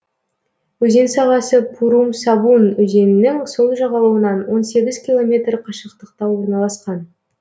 өзен сағасы пурум сабун өзенінің сол жағалауынан он сегіз километр қашықтықта орналасқан